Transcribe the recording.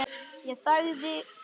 Ég þagði, beið.